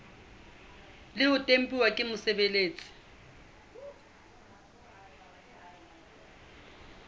le ho tempuwa ke mosebeletsi